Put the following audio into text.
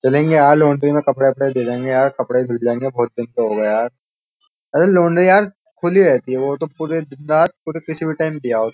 चलेंगे यार लौंड्री में कपड़े कपड़े दे देंगे यार कपड़े धुल जाएंगे बहुत दिन तो हो गए यार अरे लौंड्री यार खुली रहती है वो तो पूरे दिन रात पूरे किसी भी टाइम दिए आओ।